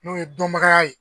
N'o ye dɔnbagaya ye